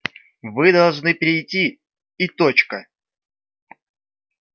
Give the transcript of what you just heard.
вы должны прийти и точка